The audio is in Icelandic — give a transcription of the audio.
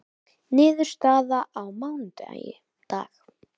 Niðurstaða á mánudag